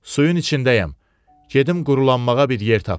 Suyun içindəyəm, gedim quruqulanmağa bir yer tapım.